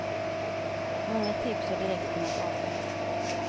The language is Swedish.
Många tips har direkt kunnat avföras.